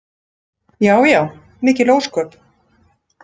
Já já mikil ósköp.